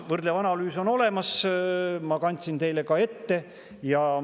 Võrdlev analüüs on olemas, ma kandsin teile selle ka ette.